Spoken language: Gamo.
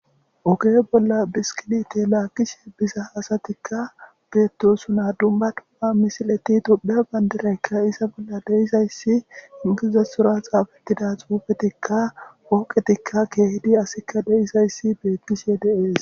oge bolla biskidite laakishe biza asatikka beettosuna dumba tum7a misileti tobiya bandiraykka iza bolla deisayssi ingiziza sura xaafettida xuufetikka wooqetikka keehidi asikka deisayssi beettishe deees